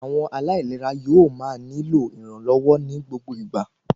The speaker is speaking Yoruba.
Àwọn aláìlera yóò máa nílò ìrànlọ́wọ́ ní gbogbo ìgbà